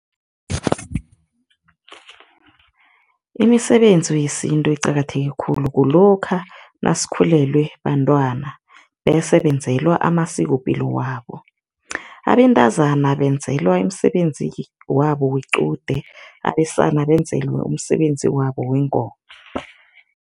Imisebenzi yesintu eqakatheke khulu kulokha nasikhulelwe bantwana bese benzelwa amasikopilo wabo. Abentazana benzelwa imisebenzi wabo wequde, abesana benzelwe umsebenzi wabo wengoma.